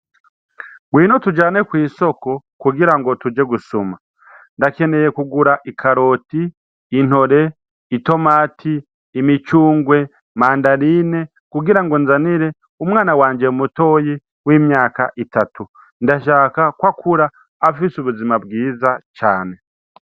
Ngwino tujane kw'isoko kugirango tuje gusuma. Ndakeneye kugura: ikaroti, intore, itomati, imicungwe, mandarine kugirango nzanire umwana wanje mutoyi w'imyaka itatu. Ndashaka kwakura afise ubuzima bwiza cane.